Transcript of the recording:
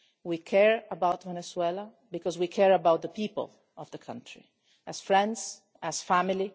We care about Venezuela because we care about the people of that country, as friends and as family.